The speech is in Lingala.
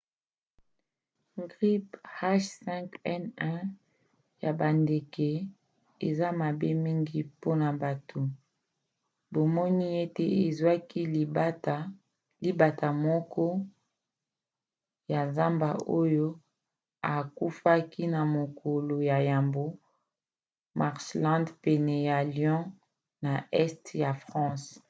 grippe h5n1 ya bandeke eza mabe mingi mpona bato; bamoni ete ezwaki libata moko ya zamba oyo akufaki na mokolo ya yambo marshland pene ya lyon na este ya france